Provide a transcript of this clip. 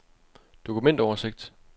dokumentoversigt